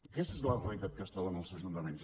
aquesta és la realitat que es troben els ajuntaments